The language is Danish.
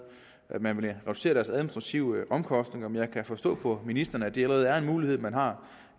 at man vil reducere deres administrative omkostninger men jeg kan forstå på ministeren at det allerede er en mulighed man har